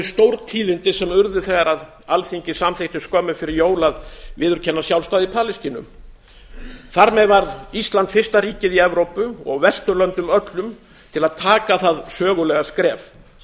stórtíðindi sem urðu þegar alþingi samþykkti skömmu fyrir jól að viðurkenna sjálfstæði palestínu þar með varð ísland fyrsta ríkið í evrópu og á vesturlöndum öllum til að taka það sögulega skref